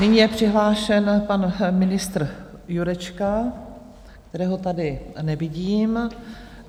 Nyní je přihlášen pan ministr Jurečka, kterého tady nevidím.